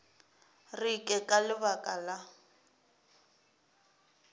re ke ka lebaka la